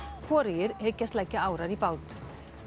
hvorugir hyggjast leggja árar í bát